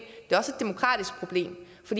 for